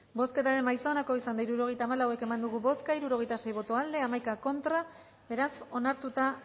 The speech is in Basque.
bozketaren emaitza onako izan da hirurogeita hamabost eman dugu bozka hirurogeita sei boto aldekoa nueve contra beraz onartuta